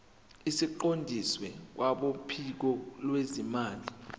siqondiswe kwabophiko lwezimali